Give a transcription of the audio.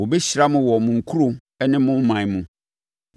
Wɔbɛhyira mo wɔ mo nkuro ne mo ɔman mu.